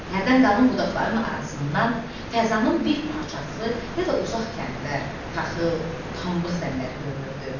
Hərdən qalın budaqların arasından fəzanın bir parçası ya da uzaq kəndlər, taxıl, pambıq zəmiləri görünürdü.